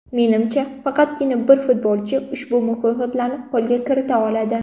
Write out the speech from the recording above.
Menimcha, faqatgina bir futbolchi ushbu mukofotlarni qo‘lga kirita oladi.